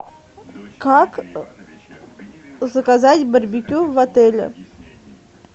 как заказать барбекю в отеле